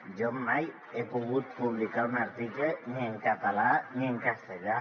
jo mai he pogut publicar un article ni en català ni en castellà